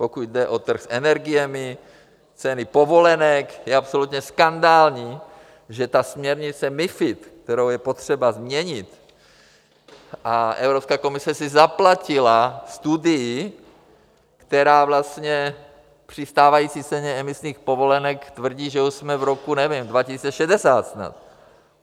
Pokud jde o trh s energiemi, ceny povolenek, je absolutně skandální, že ta směrnice MiFID, kterou je potřeba změnit, a Evropská komise si zaplatila studii, která vlastně při stávající ceně emisních povolenek tvrdí, že už jsme v roce, nevím, 2060 snad.